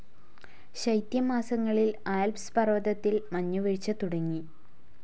ശൈത്യമാസങ്ങളിൽ Alps പർവതത്തിൽ മഞ്ഞുവീഴ്ച തുടങ്ങി.